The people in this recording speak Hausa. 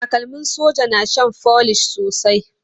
Takalmin soja na shan folish sosai.